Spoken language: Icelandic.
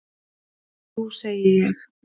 Jú segi ég.